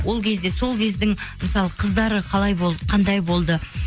ол кезде сол кездің мысалы қыздары қалай болды қандай болды